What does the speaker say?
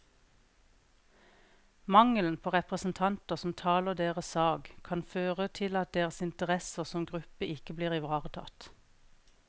Mangelen på representanter som taler deres sak, kan føre til at deres interesser som gruppe ikke blir ivaretatt.